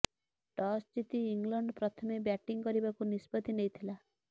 toss ଜିତି England ପ୍ରଥମେ batting କରିବାକୁ ନିଷ୍ପତ୍ତି ନେଇଥିଲା